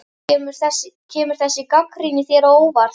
Kemur þessi gagnrýni þér á óvart?